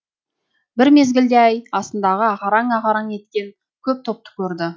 бір мезгілде ай астындағы ағараң ағараң еткен көп топты көрді